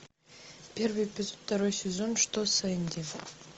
первый эпизод второй сезон что с энди